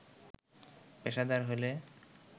পেশাদার হলে